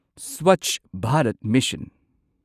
Swachh Bharat mission